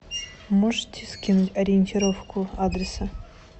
можете скинуть ориентировку адреса